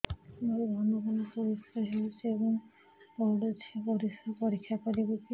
ମୋର ଘନ ଘନ ପରିସ୍ରା ହେଉଛି ଏବଂ ପଡ଼ୁଛି ପରିସ୍ରା ପରୀକ୍ଷା କରିବିକି